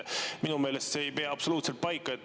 Minu meelest see ei pea absoluutselt paika.